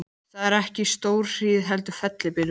Það var ekki stórhríð heldur fellibylur.